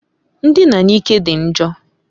Ndina n'ike dị njọ.